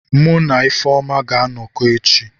Mu na Ifeoma ga-anọkọ echi.